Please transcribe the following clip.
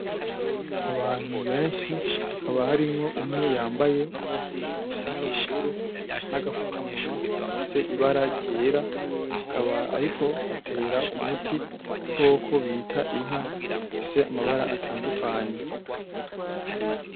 Abantu benshi ,hakaba harimwo umwe yambaye impuzu isa n'ubururu ,n'agafukamunwa gafise ibara ryera, akaba ariko atera umuti igikoko bita inka, gifise amabara atandukanye.